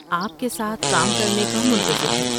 آپ کے ساتھ کام کرنے کا منتظر ہوں۔